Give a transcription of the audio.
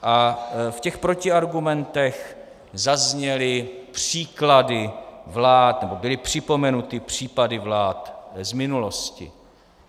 A v těch protiargumentech zazněly příklady vlád, nebo byly připomenuty případy vlád z minulosti.